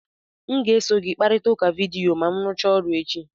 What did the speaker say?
M ga-eso gị kparịta ụka vidiyo ma m rụchaa ọrụ echi.